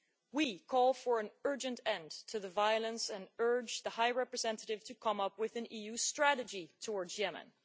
We call for an urgent end to the violence and urge the High Representative to come up with an EU strategy towards Yemen.